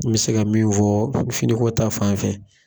N mi se ka min fɔ finiko ta fan fɛ.